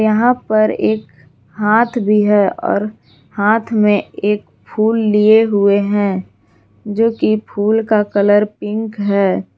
यहां पर एक हाथ भी है और हाथ में एक फुल लिए हुए हैं जोकि फूल का कलर पिंक है।